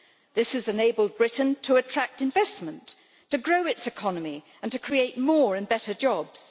This has enabled Britain to attract investment, to grow its economy and to create more and better jobs.